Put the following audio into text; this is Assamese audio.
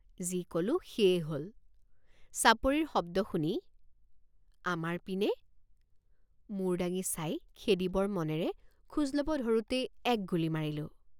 যি কলোঁ সেয়েই হল। চাপৰিৰ শব্দ শুনি আমাৰ পিনে মূৰ দাঙি চাই খেদিবৰ মনেৰে খোজ লব ধৰোঁতেই এক গুলী মাৰিলোঁ।